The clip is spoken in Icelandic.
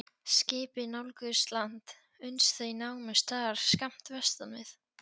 Skipin nálguðust land, uns þau námu staðar skammt vestan við